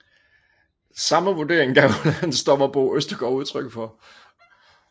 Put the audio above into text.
Samme vurdering gav landsdommer Bo Østergaard udtryk for